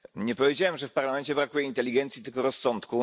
Nie powiedziałem, że w Parlamencie brakuje inteligencji, tylko rozsądku.